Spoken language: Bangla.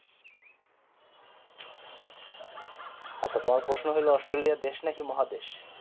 আচ্ছা তোমার প্রশ্ন হলো অস্ট্রলিয়া দেশ নাকি মহাদেশ